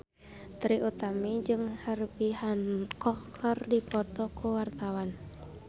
Trie Utami jeung Herbie Hancock keur dipoto ku wartawan